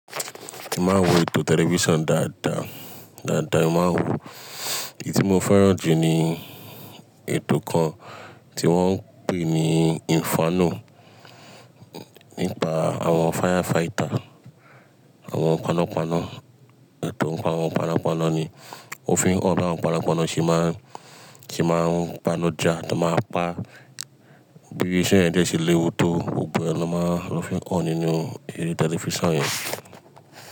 Èmi máa ń wo ètò tẹlifíṣàn dáadáa, dáadáa èmi máa ń wò. Èyí tí mo fẹ́ràn jù ni ètò kan tí wọ́n ń pè ní inferno, nípa àwọn firefighter, àwọn panápaná. Ètò ń pa àwọn panápaná ni. O fi ń hàn bí àwọn panápaná ṣe máa ń, ṣe máa ń pánajá, táa máa pa, bí iṣẹ́ yẹn dẹ́ ṣe léwu tó, gbogbo ẹ ni ló fi máa ń hàn nínú eré tẹlifíṣàn yẹn.